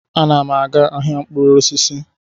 Ana m aga ahịa mkpụrụ osisi